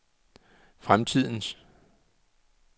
fremtidens